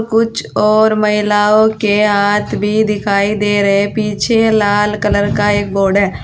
कुछ और महिलाओं के हाथ भी दिखाई दे रहे। पीछे लाल कलर का एक बोर्ड है।